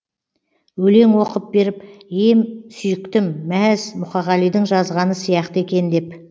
өлең оқып беріп ем сүйіктім мәз мұқағалидың жазғаны сияқты екен деп